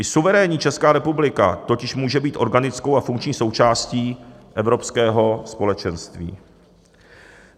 I suverénní Česká republika totiž může být organickou a funkční součástí evropského společenství.